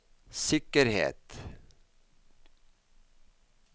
sikkerhet